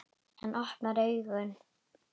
Hann opnar augun.